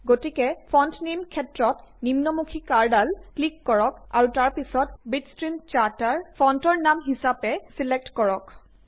গতিকে font name ক্ষেত্ৰত নিম্নমুখি কাড়ঁডাল ক্লিক কৰক আৰু তাৰ পিছত বিটষ্ট্ৰিম চাৰ্টাৰ ফন্টৰ নাম হিচাপে ছিলেক্ট কৰক